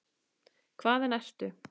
Hvaðan ertu?